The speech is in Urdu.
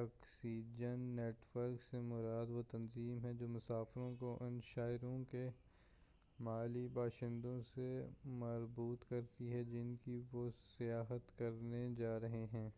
اکسچنج نیٹ ورک سے مراد وہ تنظیم ہے جو مسافروں کو ان شہروں کے محلی باشندوں سے مربوط کرتی ہے جن کی وہ سیاحت کرنے جا رہے ہیں